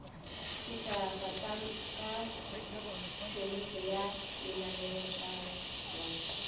sethaka ka tphomipo ya lenaneotshwaiwa